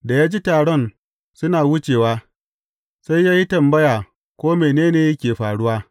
Da ya ji taron suna wucewa, sai ya yi tambaya ko mene ne ke faruwa.